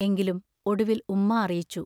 എങ്കിലും ഒടുവിൽ ഉമ്മാ അറിയിച്ചു.